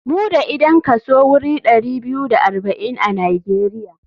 Mu da idan kaso wurin ɗari biyu da arba'in a nijeria.